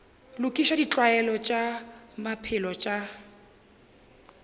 lokiša ditlwaelo tša maphelo tša